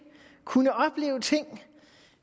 kunne opleve ting